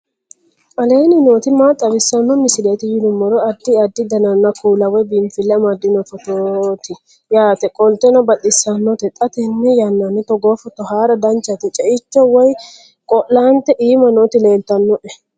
aleenni nooti maa xawisanno misileeti yinummoro addi addi dananna kuula woy biinfille amaddino footooti yaate qoltenno baxissannote xa tenne yannanni togoo footo haara danchate ceicho woy qo'laante iima nooti leltannoe